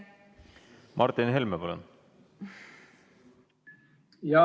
Martin Helme, palun!